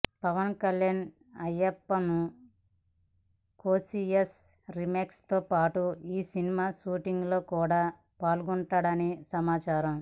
Pawan Kalyan Ayyappanum Koshiyum remake తో పాటు ఈ సినిమా షూటింగ్ లో కూడా పాల్గొననున్నాడని సమాచారం